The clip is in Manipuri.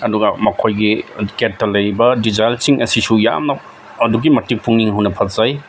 ꯑꯗꯨꯒ ꯃꯈꯣꯏꯒꯤ ꯒꯦꯠꯇ ꯂꯩꯔꯤꯕ ꯗꯤꯖꯥꯏꯜ ꯁꯤꯡ ꯑꯁꯤꯁꯨ ꯌꯥꯝꯅ ꯑꯗꯨꯛꯀꯤ ꯃꯇꯤꯛ ꯄꯨꯛꯅꯤꯡ ꯍꯨꯅ ꯐꯖꯩ꯫